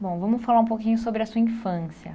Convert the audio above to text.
Bom, vamos falar um pouquinho sobre a sua infância.